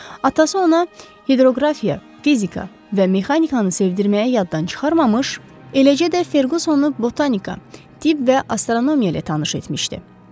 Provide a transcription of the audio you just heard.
Atası ona hidroqrafiya, fizika və mexanikanı sevdirməyə yaddan çıxarmamış, eləcə də Ferqusonu botanika, tibb və astronomiya ilə tanış etmişdi.